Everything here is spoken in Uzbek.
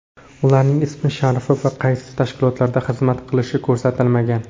Ularning ismi-sharifi va qaysi tashkilotlarda xizmat qilishi ko‘rsatilmagan.